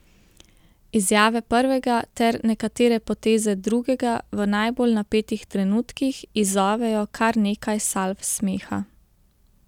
Izjave prvega ter nekatere poteze drugega v najbolj napetih trenutkih izzovejo kar nekaj salv smeha.